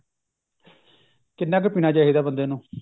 ਕਿੰਨਾ ਕ ਪੀਣਾ ਚਾਹਿਦਾ ਬੰਦੇ ਨੂੰ